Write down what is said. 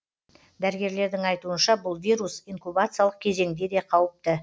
дәрігерлердің айтуынша бұл вирус инкубациялық кезеңде де қауіпті